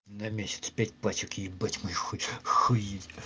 на месяц пять пачек ебать мой хуй охуеть